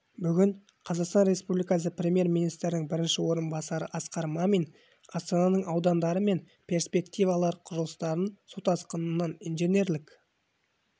бүгін қазақстан республикасы премьер-министрінің бірінші орынбасары асқар мамин астананың аудандары мен перспективалық құрылыстарын су тасқынынан инженерлік